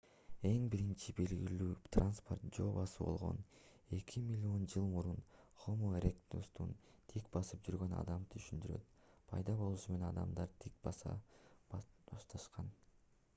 эң биринчи белгилүү транспорт жөө басуу болгон эки миллион жыл мурун хомо эректустун тик басып жүргөн адамды түшүндүрөт пайда болушу менен адамдар тик баса башташкан